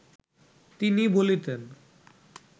তিনি বলিতেন